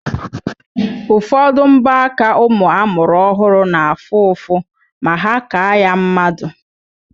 Ụfọdụ mbọaka nwa amụrụ ọhụrụ na-afụ ụfụ ma ha kaa ya mmadụ.